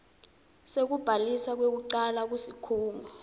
sekubhaliswa kwekucala kusikhungo